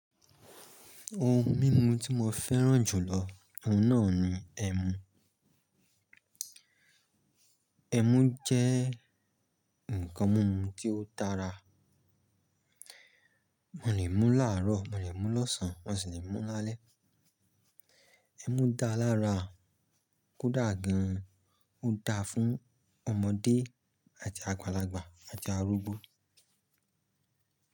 Ohun mímu tí mo fẹ́ràn jùlọ, ohun náà ni ẹmu. Ẹmu jẹ́ nǹkan mímu tí ó dára. Mo lè mú láàárọ̀, mo lè mú lọ́sàn án, mọ́ sì lè mú lálẹ́. Ẹmu dá lára, kò dà gan-an, ó dáa fún ọmọdé àti àgbàlagbà àti arúgbó.